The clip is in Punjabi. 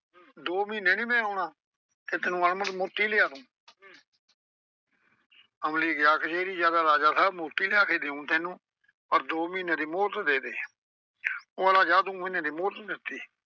ਦੋ ਮਹੀਨੇ ਨਈਂ ਮੈਂ ਆਉਣਾ ਤੇ ਤੈਨੂੰ ਅਣਮੁੱਲ ਮੋਤੀ ਲਿਆ ਦੂੰ ਅਮਲੀ ਗਿਆ ਕਚਹਿਰੀ ਤੇ ਆਂਹਦਾ ਰਾਜਾ ਸਾਬ੍ਹ ਮੋਤੀ ਲਿਆ ਕੇ ਦੇਊਂ ਤੈਨੂੰ ਪਰ ਦੋ ਮਹੀਨੇ ਦੀ ਮੁੱਹਲਤ ਦੇ ਦੇ। ਉਹ ਆਂਹਦਾ ਜਾ ਦੋ ਮਹੀਨੇ ਦੀ ਮੁਹਲਤ ਦਿੱਤੀ।